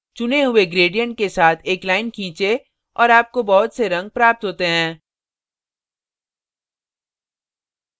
चुने हुए gradient के साथ एक line खींचें और आपको बहुत से रंग प्राप्त होते हैं